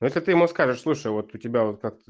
это ты ему скажешь слушай вот у тебя как-то